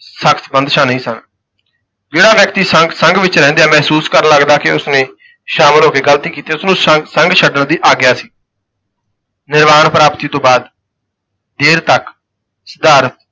ਸਖ਼ਤ ਬੰਦਸ਼ਾਂ ਨਹੀਂ ਸਨ, ਜਿਹੜਾ ਵਿਅਕਤੀ ਸੰਘ ਵਿਚ ਰਹਿੰਦਿਆਂ ਮਹਿਸੂਸ ਕਰਨ ਲਗਦਾ ਕਿ ਉਸ ਨੇ ਸ਼ਾਮਲ ਹੋ ਕੇ ਗਲਤੀ ਕੀਤੀ ਹੈ, ਉਸ ਨੂੰ ਸੰ ਸੰਘ ਛੱਡਣ ਦੀ ਆਗਿਆ ਸੀ ਨਿਰਵਾਣ ਪ੍ਰਾਪਤੀ ਤੋਂ ਬਾਅਦ ਦੇਰ ਤੱਕ ਸਿਧਾਰਥ